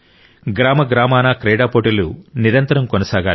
గ్రామ గ్రామాన క్రీడా పోటీలు నిరంతరం కొనసాగాలి